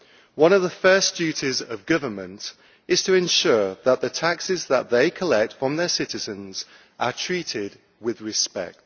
One of the first duties of government is to ensure that the taxes that they collect from their citizens are treated with respect.